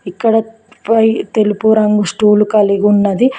ఇక్కడ పై తెలుపు రంగు స్టూలు కలిగి ఉన్నది.